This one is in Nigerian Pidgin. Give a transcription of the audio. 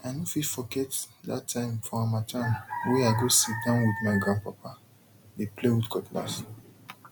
i no fit forget that time for harmattan wey i go sit down with my grandpapa dey play with cutlass